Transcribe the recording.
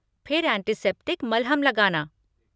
फिर एंटीसेप्टिक मलहम लगाना।